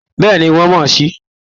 Bẹ́ẹ̀ ni, wọ́n mọ̀ sí i